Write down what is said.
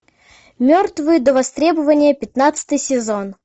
мертвые до востребования пятнадцатый сезон